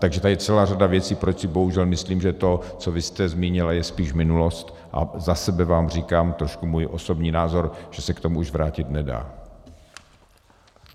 Takže tady je celá řada věcí, proč si bohužel myslím, že to, co vy jste zmínila, je spíš minulost, a za sebe vám říkám trošku svůj osobní názor, že se k tomu už vrátit nedá.